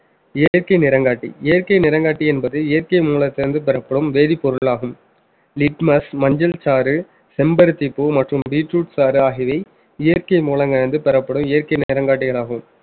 இயற்கை நிறங்காட்டி இயற்கை நிறங்காட்டி என்பது இயற்கை மூலத்திலிருந்து பெறப்படும் வேதிப்பொருள் ஆகும் litmus மஞ்சள் சாறு செம்பருத்திப் பூ மற்றும் beetroot சாறு ஆகியவை இயற்கை மூலம் கலந்து பெறப்படும் இயற்கை நிறம்காட்டிகளாகும்